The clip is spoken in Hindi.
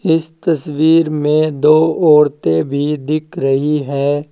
इस तस्वीर में दो औरतें भी दिख रही हैं।